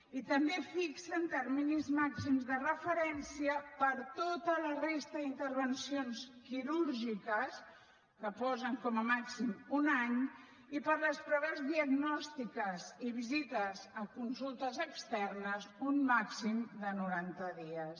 i també fixen terminis màxims de referència per a tota la resta d’intervencions quirúrgiques que posen com a màxim un any i per a les proves diagnòstiques i visites a consultes externes un màxim de noranta dies